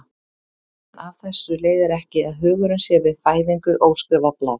En af þessu leiðir ekki að hugurinn sé við fæðingu óskrifað blað.